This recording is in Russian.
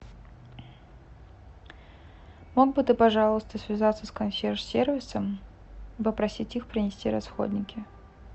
мог бы ты пожалуйста связаться с консьерж сервисом и попросить их принести расходники